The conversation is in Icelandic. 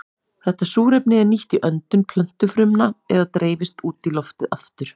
Þetta súrefni er nýtt í öndun plöntufrumna eða dreifist út í loftið aftur.